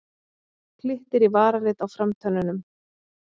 Glittir í varalit á framtönnunum.